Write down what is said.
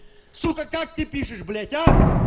сука как ты пишешь блять а